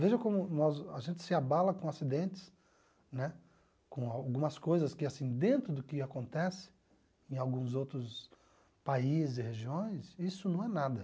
Veja como nós a gente se abala com acidentes, né, com algumas coisas que, assim, dentro do que acontece em alguns outros países e regiões, isso não é nada.